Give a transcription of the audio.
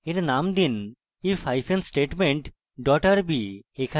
এর name দিন if hyphen statement dot rb